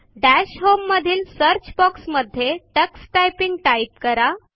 दश होम मधील search box मध्ये टक्स टायपिंग टाइप करा